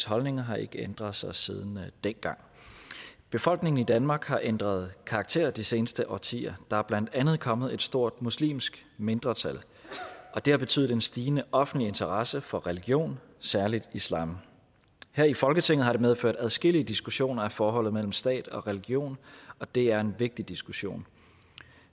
holdninger har ikke ændret sig siden dengang befolkningen i danmark har ændret karakter de seneste årtier der er blandt andet kommet et stort muslimsk mindretal og det har betydet en stigende offentlig interesse for religion særligt islam her i folketinget har det medført adskillige diskussioner af forholdet mellem stat og religion og det er en vigtig diskussion